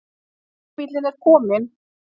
Leigubíllinn er kominn.